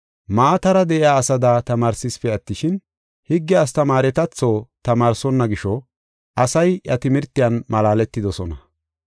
Maatara de7iya asada tamaarsesipe attishin, higge astamaaretatho tamaarsonna gisho, asay iya timirtiyan malaaletidosona.